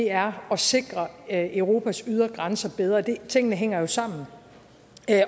er at sikre europas ydre grænser bedre tingene hænger jo sammen